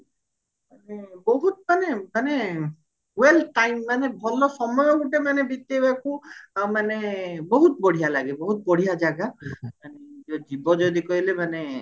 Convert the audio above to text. ବହୁତ ମାନେ ମାନେ well time ମାନେ ଭଲ ସମୟ ଗୋଟେ ମାନେ ବିତେଇବାକୁ ମାନେ ବହୁତ ବଢିଆ ଲାଗେ ବହୁତ ବଢିଆ ଜାଗା ଯିବ ଯଦି କହିଲେ ମାନେ